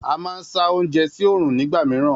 A máa ń sá oúnjẹ sí oòrùn nígbà mìíràn